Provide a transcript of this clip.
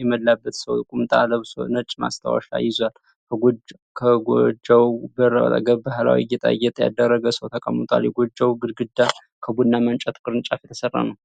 የሞላበት ሰው ቁምጣ ለብሶ ነጭ ማስታወሻ ይዟል። ከጎጆው በር አጠገብ ባህላዊ ጌጣጌጥ ያደረገ ሰው ተቀምጧል። የጎጆው ግድግዳ ከቡናማ እንጨትና ቅርንጫፍ የተሰራ ነው።